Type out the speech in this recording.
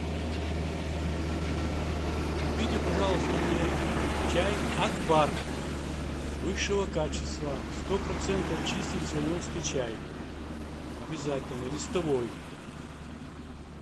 купите пожалуйста мне чай акбар высшего качества сто процентов чистый цейлонский чай обязательно листовой